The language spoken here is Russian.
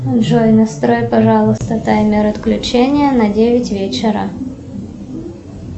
джой настрой пожалуйста таймер отключения на девять вечера